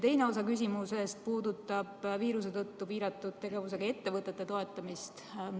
Teine osa küsimusest puudutab viiruse tõttu piiratud tegevusega ettevõtete toetamist.